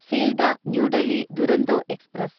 Sealdah New Delhi Duronto express